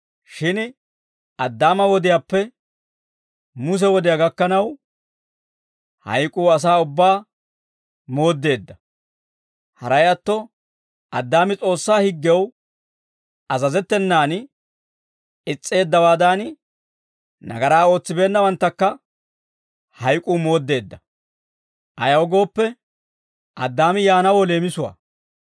Shin Addaama wodiyaappe, Muse wodiyaa gakkanaw, hayk'uu asaa ubbaa mooddeedda; haray atto Addaami S'oossaa higgew azazettenan is's'eeddawaadan, nagaraa ootsibeennawanttakka hayk'uu mooddeedda. Ayaw gooppe, Addaami yaanawoo leemisuwaa.